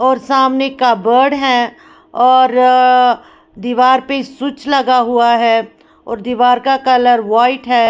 और सामने कबर्ड है और दीवार पे स्विच लगा हुआ है और दीवार का कलर वाइट है।